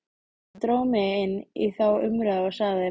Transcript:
Hann dró mig inn í þá umræðu og sagði